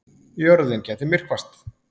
Jörðin gæti myrkvast